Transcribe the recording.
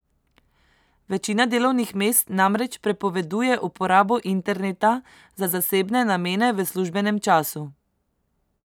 Večina delovnih mest namreč prepoveduje uporabo interneta za zasebne namene v službenem času.